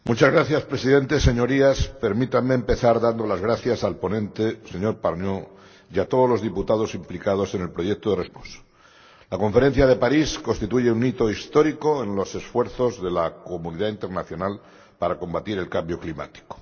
Señor Presidente, Señorías, permítanme empezar dando las gracias al ponente, señor Pargneaux, y a todos los diputados implicados en el proyecto de Resolución que hoy debatimos. La Conferencia de París constituye un hito histórico en los esfuerzos de la comunidad internacional para combatir el cambio climático.